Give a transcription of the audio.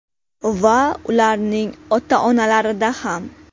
Va ularning ota-onalarida ham!